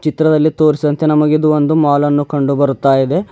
ಚಿತ್ರದಲ್ಲಿ ತೋರಿಸಿದಂತೆ ನಮಗೆ ಇದು ಒಂದು ಮಾಲನ್ನು ಕಂಡು ಬರುತ್ತಾಯಿದೆ.